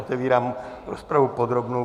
Otevírám rozpravu podrobnou.